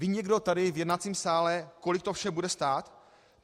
Ví někdo tady v jednacím sále, kolik to vše bude stát?